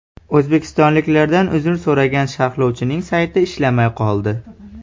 O‘zbekistonliklardan uzr so‘ragan sharhlovchining sayti ishlamay qoldi.